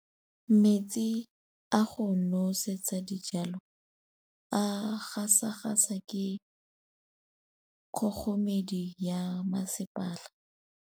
Metsi a go nosetsa dijalo a gasa gasa ke kgogomedi ya masepala.